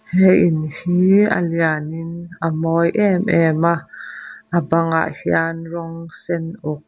he in hih a lian in a mawi em em a a bangah hian rawng sen uk.